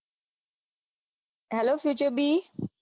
Hello future bee